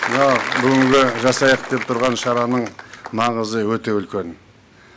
мына бүгінгі жасайық деп тұрған шараның маңызы өте үлкен